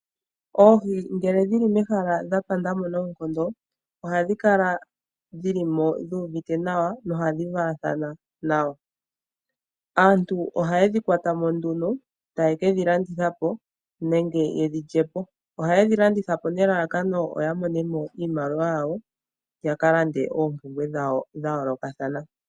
Oohi ngele dhili mehala dha pandamo noonkondo ohadhi kala dhili mo dhuu uvite nawa nohadhi valathana nawa aantu ohayedhi kwata mo nduno taye ke dhi landitha po nenge yedhi lyepo ohayedhi landitha po nelalakano oya mo Nemo iimaliwa yawo ya ka lande oompumbwe dhawo dha yoolokathana.